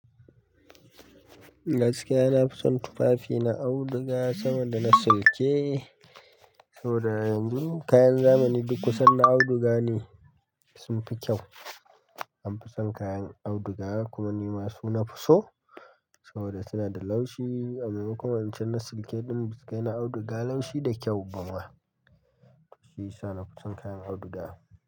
Gaskiya, na fi son tufafi na auduga sama da na silke. Saboda yanzu kayan zamani duk kusan na auduga ne, sun fi kyau. An fi son kayan auduga kuma ni ma su na fi so saboda suna da laushi. A maimakon wancan na silke ɗin ba su ga na auduga laushi da kyau ba ma. Shi ya sa na fi son kayan auduga.